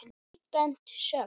Tvíbent sögn.